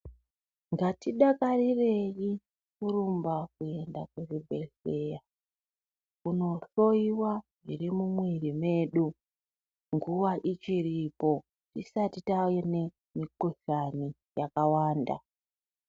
Ngatidakarireyi kurumba kuenda kuzvibhedhlera kundohloyiwa zvirimumwiri medu, nguva ichiripo, tisati tavenemikhuhlane yakawanda.